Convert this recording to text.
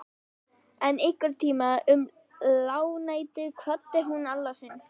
En einhvern tíma um lágnættið kvaddi hún Alla sinn.